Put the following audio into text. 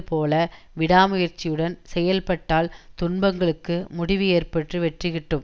போல விடா முயற்சியுடன் செயல்பட்டால் துன்பங்களுக்கு முடிவு ஏற்பட்டு வெற்றி கிட்டும்